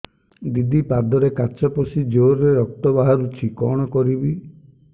ଦିଦି ପାଦରେ କାଚ ପଶି ଜୋରରେ ରକ୍ତ ବାହାରୁଛି କଣ କରିଵି